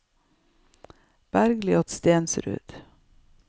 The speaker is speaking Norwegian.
Bergljot Stensrud